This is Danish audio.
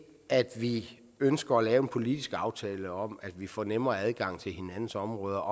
at vi ønsker at lave en politisk aftale om at vi får en nemmere adgang til hinandens områder